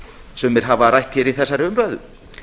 sumir hafa rætt í þessari umræðu